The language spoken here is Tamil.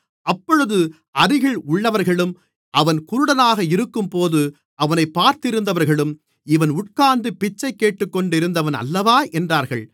அப்பொழுது அருகில் உள்ளவர்களும் அவன் குருடனாக இருக்கும்போது அவனைப் பார்த்திருந்தவர்களும் இவன் உட்கார்ந்து பிச்சை கேட்டுக்கொண்டிருந்தவன் அல்லவா என்றார்கள்